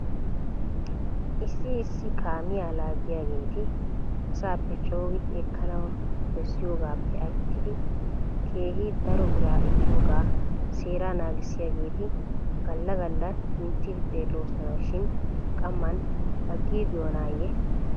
Issi issi kaamiyaa laaggiyaageeti asaappe coogidi ekkanaw bessiyoogaappe aattidi keegi daro biraa ekkiyoogaa seeraa naagissiyaageeti gala gala minttidi xeelloosona shin qamman agiigiyoonaayye?